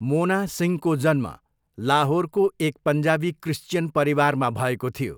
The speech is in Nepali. मोना सिंहको जन्म लाहोरको एक पन्जाबी क्रिस्चियन परिवारमा भएको थियो।